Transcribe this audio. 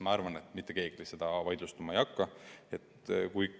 Ma arvan, et mitte keegi seda vaidlustama ei hakkaks.